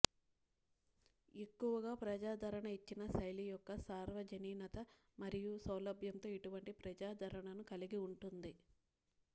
ఎక్కువగా ప్రజాదరణ ఇచ్చిన శైలి యొక్క సార్వజనీనత మరియు సౌలభ్యంతో ఇటువంటి ప్రజాదరణను కలిగి ఉంటుంది